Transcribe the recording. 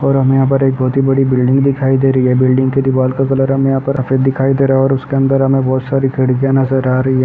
और हमें यहां पर एक बोत ही बड़ी बिल्डिंग दिखाई दे रही है। बिल्डिंग के दिवाल का कलर हमें यहां पर अफेद दिखाई दे रहा है और उसके अंदर हमें बहोत सारी खिड़कियां नजर आ रही है।